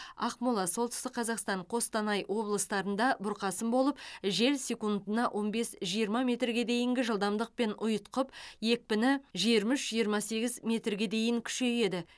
ақмола солтүстік қазақстан қостанай облыстарында бұрқасын болып жел секундына он бес жиырма метрге дейінгі жылдамдықпен ұйытқып екпіні жиырма үш жиырма сегіз метрге дейін күшейеді